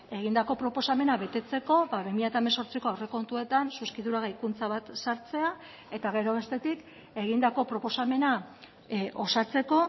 egindako proposamena betetzeko bi mila hemezortziko aurrekontuetan zuzkidura gehikuntza bat sartzea eta gero bestetik egindako proposamena osatzeko